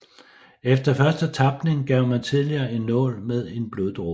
Efter første tapning gav man tidligere en nål med en bloddråbe